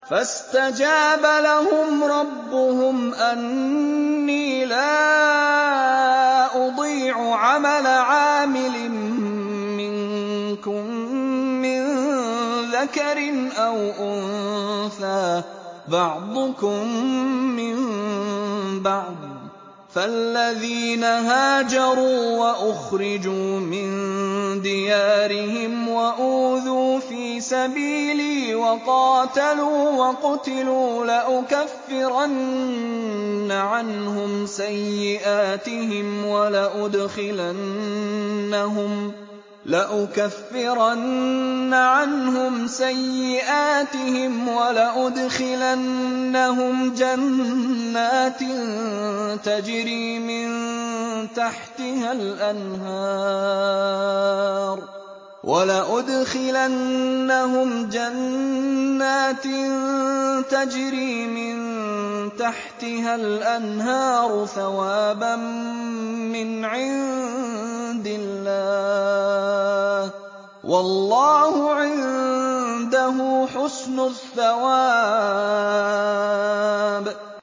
فَاسْتَجَابَ لَهُمْ رَبُّهُمْ أَنِّي لَا أُضِيعُ عَمَلَ عَامِلٍ مِّنكُم مِّن ذَكَرٍ أَوْ أُنثَىٰ ۖ بَعْضُكُم مِّن بَعْضٍ ۖ فَالَّذِينَ هَاجَرُوا وَأُخْرِجُوا مِن دِيَارِهِمْ وَأُوذُوا فِي سَبِيلِي وَقَاتَلُوا وَقُتِلُوا لَأُكَفِّرَنَّ عَنْهُمْ سَيِّئَاتِهِمْ وَلَأُدْخِلَنَّهُمْ جَنَّاتٍ تَجْرِي مِن تَحْتِهَا الْأَنْهَارُ ثَوَابًا مِّنْ عِندِ اللَّهِ ۗ وَاللَّهُ عِندَهُ حُسْنُ الثَّوَابِ